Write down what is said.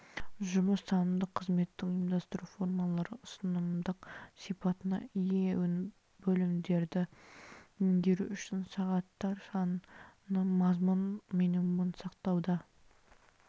жұмыс танымдық қызметтің ұйымдастыру формалары ұсынымдық сипатына ие бөлімдерді меңгеру үшін сағаттар саны мазмұн минимумын сақтауда